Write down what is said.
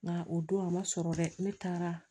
Nka o don a ma sɔrɔ dɛ ne taara